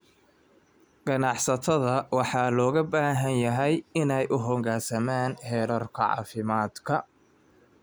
Ganacsatada waxaa looga baahan yahay inay u hoggaansamaan xeerarka caafimaadka.